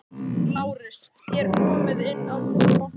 LÁRUS: Þér komið inn án þess að banka.